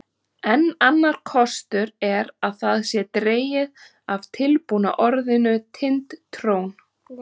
Enn annar kostur er að það sé dregið af tilbúna orðinu Tind-trón.